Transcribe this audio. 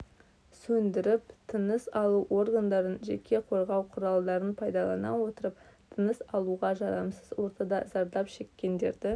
сөндіріп тыныс алу органдарын жеке қорғау құралдарын пайдалана отырып тыныс алуға жарамсыз ортада зардап шеккендерді